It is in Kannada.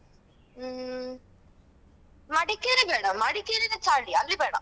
ಹ್ಮ್ ಮಡಿಕೇರಿ ಬೇಡ ಮಡಿಕೇರಿನೇ ಚಳಿ ಅಲ್ಲಿ ಬೇಡ.